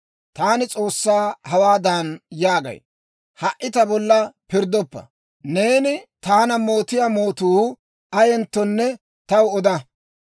Taani S'oossaa hawaadan yaagay: Ha"i ta bolla pirddoppa; neeni taana mootiyaa mootuu ayenttonne taw oda.